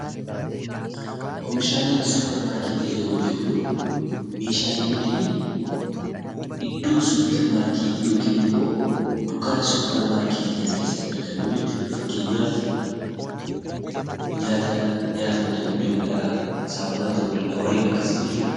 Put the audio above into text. Oomishaalee suuparmaarketii yeroo jennu meeshaalee nuti iddoo suuparmaarketii yookiin immoo dukkaana suuparmaarketii kana keessatti argannu jechuudha. Fakkeenyaaf nyaata nyaatamu ta'uu danda'a, saamunaa ta'uu danda'a warreen akkasii jechuudha.